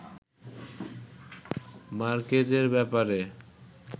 মার্কেজের ব্যাপারে